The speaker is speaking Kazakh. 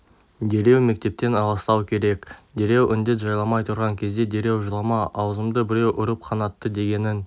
дереу мектептен аластау керек дереу індет жайламай тұрған кезде дереу жылама аузымды біреу ұрып қанатты дегенің